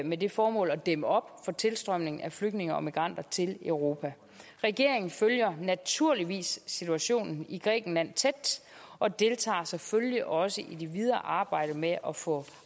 med det formål at dæmme op for tilstrømningen af flygtninge og migranter til europa regeringen følger naturligvis situationen i grækenland tæt og deltager selvfølgelig også i det videre arbejde med at få